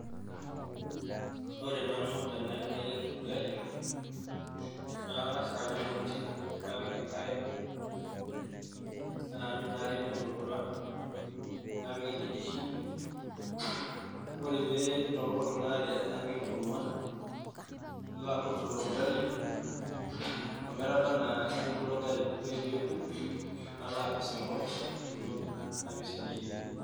Ore nanu tenayieu nayier orgali naa kang'as aayau emoti napik enkare naanyu inaare meitootuaa napik enkiti shumbi ore pee eitokiyok inaa re napik enkurma nakurt ilo gali ometabanaa neku ilo gali ore peeku nalo apisingu tentoki napisingieki.